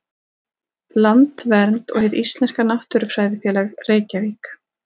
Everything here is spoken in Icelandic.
Landvernd og Hið íslenska náttúrufræðifélag, Reykjavík.